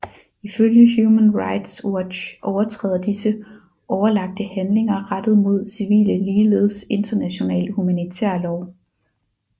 Ifølge Human Rights Watch overtræder disse overlagte handlinger rettet mod civile ligeledes international humanitær lov